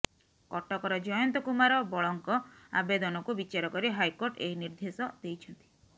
କଟକର ଜୟନ୍ତ କୁମାର ବଳଙ୍କ ଆବେଦନକୁ ବିଚାରକରି ହାଇକୋର୍ଟ ଏହି ନିର୍ଦ୍ଦେଶ ଦେଇଛନ୍ତି